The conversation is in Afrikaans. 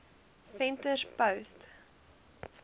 venterspost